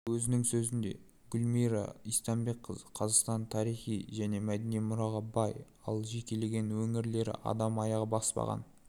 өзінің сөзінде гүлмира истайбекқызы қазақстанның тарихи және мәдени мұраға бай ал жекелеген өңірлері адам аяғы баспаған